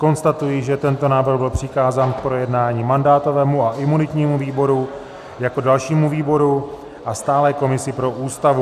Konstatuji, že tento návrh byl přikázán k projednání mandátovému a imunitnímu výboru jako dalšímu výboru a stálé komisi pro Ústavu.